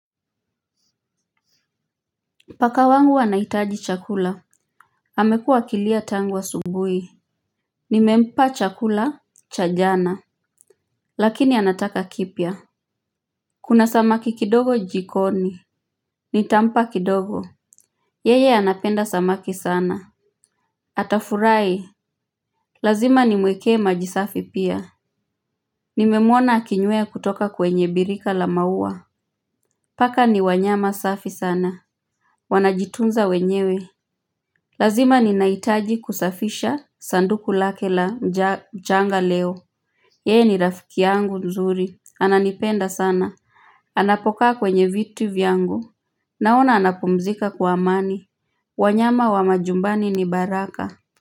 Paka wangu wanahitaji chakula amekuwa akilia tangu asubuhi. Nimempa chakula cha jana lakini anataka kipya. Kuna samaki kidogo jikoni. Nitampa kidogo yeye anapenda samaki sana. Atafurahi lazima nimuwekee maji safi pia. Nimemuona akinywea kutoka kwenye birika la maua. Paka ni wanyama safi sana. Wanajitunza wenyewe lazima ninahitaji kusafisha sanduku lake la mchanga leo. Yeye ni rafiki yangu nzuri. Ananipenda sana. Anapokaa kwenye vitu vyangu. Naona anapumzika kwa amani. Wanyama wa majumbani ni baraka.